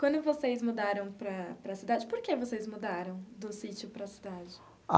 Quando vocês mudaram para para a cidade, por que vocês mudaram do sítio para a cidade?